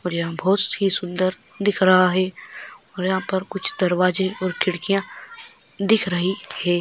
और यहा बहुत सी सुंदर दिख रहा है और यहा पर कुछ दरवाजे और खिड़कीय दिख रही है।